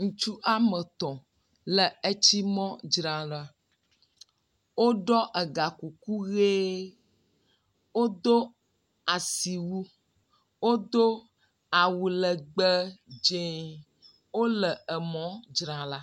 Ŋutsu woame et le etsi mɔ dzram ɖa. Woɖɔ egakuku ʋe. Wodo asi wu, wodo awu legbe dzɛ. Wole emɔ dzram ɖo.